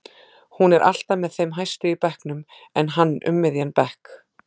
Hún er alltaf með þeim hæstu í bekknum en hann um miðjan bekk.